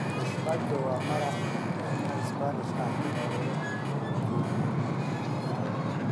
Gazpacho waa maraq yaanyo Isbaanish ah oo la qaboojiyey.